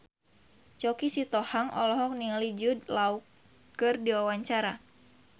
Choky Sitohang olohok ningali Jude Law keur diwawancara